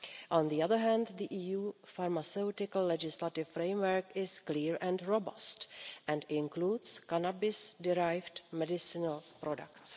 On the other hand, the EU pharmaceutical legislative framework is clear and robust and includes cannabis-derived medicinal products.